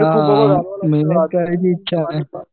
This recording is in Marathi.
हा करायची इच्छा नाही.